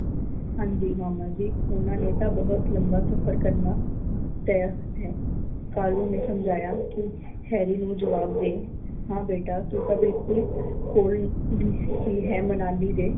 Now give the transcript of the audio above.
ਹਾਂ ਜੀ ਮਾਮਾ ਜੀ ਓਹਨਾਂ ਨੇ ਤਾਂ ਬਹੁਤ ਲੰਬਾ ਸਫ਼ਰ ਕਰਨ ਤੈਅ ਹੈ। ਕਾਲੀ ਨੇ ਸਮਝਾਇਆ ਕੀ ਹੈਰੀ ਨੂੰ ਜਵਾਬ ਦੇ ਹਾਂ ਬੇਟਾ ਤੂੰ ਤਾਂ ਬਿਲਕੁਲ ਕੋਲ ਹੀ ਹੈ ਮਨਾਲੀ ਦੇ।